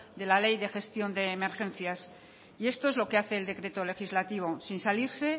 de la ley de gestión de emergencias y esto es lo que hace el decreto legislativo